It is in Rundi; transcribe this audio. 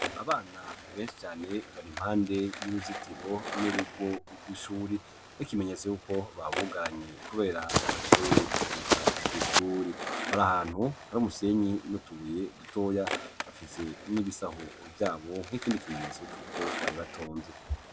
Abana benshi cane bari impande y'uruzitiro n'urugo rw'ishuri nk'ikimenyetso yuko babugaranye kubera bacerewe kuza kw'ishuri, bari ahantu hari umusenyi n'utubuye dutoya, bafise n'ibisaho vyabo nk'ikindi kimenyetso c'uko bari batonze.